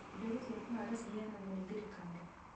Mbegũ cia kũhanda ciheanagwo nĩ thirikari